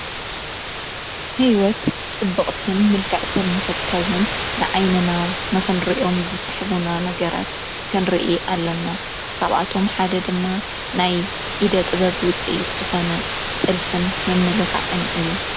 ሕይወት ጽቡቕትን ምልክዕትን ንኽትከውን ንዓይንና ነኽንርእኦም ዝስሕቡና ነገራት ክንሪኢ ኣለና ካብኣቶም ሓደ ድማ ናይ ኢደ ጥበብ ውፅይት ዝኾነ ጥልፍን ምምልኽዐን እዩ።